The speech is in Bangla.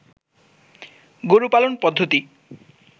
গরু পালন পদ্ধতি